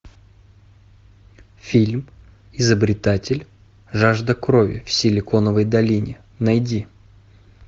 фильм изобретатель жажда крови в силиконовой долине найди